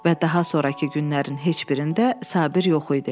Və daha sonrakı günlərin heç birində Sabir yox idi.